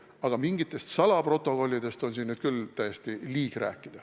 Aga mingitest salaprotokollidest on küll täiesti liig rääkida.